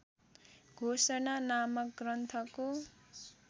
घोषणा नामक ग्रन्थको